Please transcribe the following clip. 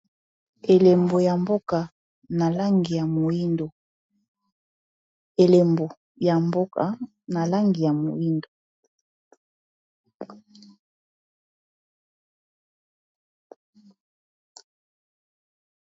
Elembo ya mboka na langi ya moindo.